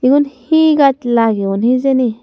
egun he gaj lageyoun hejeni.